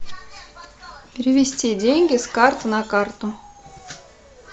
перевести деньги с карты на карту